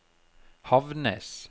Havnnes